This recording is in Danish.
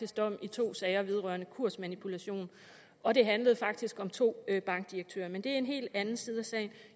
dom i to sager vedrørende kursmanipulation og det handlede faktisk om to bankdirektører men det er en helt anden side af sagen